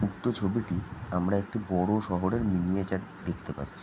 উক্ত ছবিটি আমরা একটি বড়ো শহরের মিনিয়েচারে দেখতে পাচ্ছি।